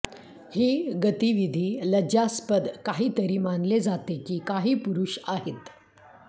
ही गतिविधी लज्जास्पद काहीतरी मानले जाते की काही पुरुष आहेत